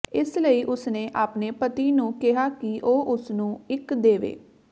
ਇਸ ਲਈ ਉਸਨੇ ਆਪਣੇ ਪਤੀ ਨੂੰ ਕਿਹਾ ਕਿ ਉਹ ਉਸਨੂੰ ਇੱਕ ਦੇਵੇ